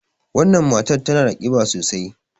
Wannan matar tana da ƙiba sosai.